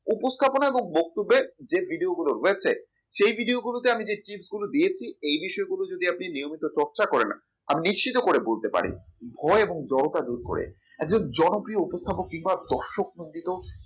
উপস্থাপনা এবং বক্তব্যের যে video গুলো রয়েছে সেই video গুলোতে আমি যে tips গুলো দিয়েছি এ বিষয়গুলি আপনি যদি নিয়মিত চর্চা করেন আমি নিশ্চিত করে বলতে পারি ভয় এবং জরতা দূর করে একজন জনপ্রিয় উপস্থাপন কিংবা দর্শক মন্ডিত